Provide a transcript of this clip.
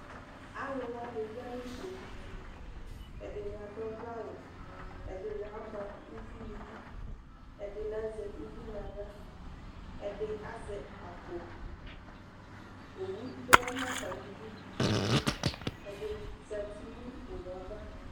Alʋ wanɩ ya nʋ owu tu: ɛdɩnɩ adʋ 'vlɛ awʋ, ɛdɩnɩ ama uvi nidu, ɛdɩnɩ azɛ uvi naɣla; ɛdɩ azɛ akpoOwu tɔɛ natamɩ du, ɛdɩnɩ zati n' owueava